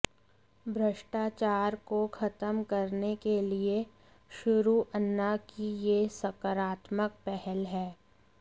भ्रष्टाचार को खत्म करने के लिए शुरू अन्ना की यह साकारात्मक पहल है